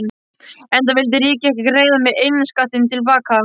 Enda vildi ríkið ekki greiða mér innskattinn til baka.